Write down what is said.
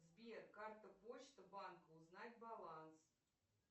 сбер карта почта банка узнать баланс